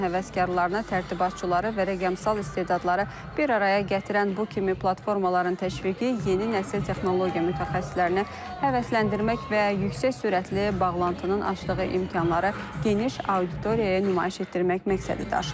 Oyun həvəskarlarına, tərtibatçıları və rəqəmsal istedadları bir araya gətirən bu kimi platformaların təşviqi yeni nəsil texnologiya mütəxəssislərinə həvəsləndirmək və yüksək sürətli bağlantının açdığı imkanları geniş auditoriyaya nümayiş etdirmək məqsədi daşıyır.